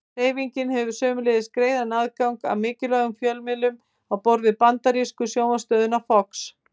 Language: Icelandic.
Hreyfingin hefur sömuleiðis greiðan aðgang að áhrifamiklum fjölmiðlum á borð við bandarísku sjónvarpsstöðina Fox.